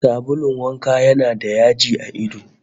Sabulun wanka yana da yaji a ido